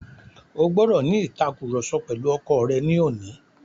O gbọ́dọ̀ ní ìtàkurọ̀sọ pẹ̀lu ọkọ rẹ ní òní.